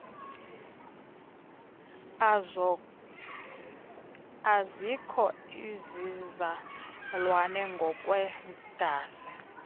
azikho izizalwane ngokwegazi